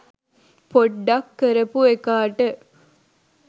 පොඩ්ඩක් කරපු එකාට.